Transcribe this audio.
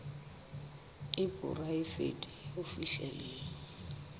e poraefete ya ho fihlella